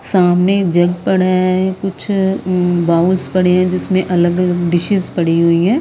सामने जग पड़ा है कुछअ उम् बाउल्स पड़े हैं जिसमें अलग-अलग डिशेस पड़ी हुई हैं।